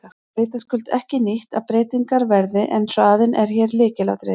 Það er vitaskuld ekki nýtt að breytingar verði en hraðinn er hér lykilatriði.